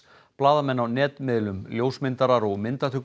blaðamenn á netmiðlum ljósmyndarar og myndatökumenn